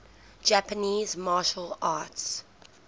japanese martial arts